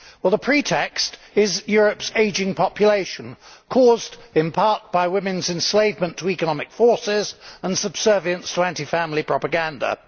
The pretext is Europe's ageing population caused, in part, by women's enslavement to economic forces and subservience to anti family propaganda.